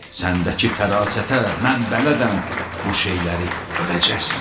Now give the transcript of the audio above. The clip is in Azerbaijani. Səndəki fərasətə mən bələdəm, bu şeyləri görəcəksən.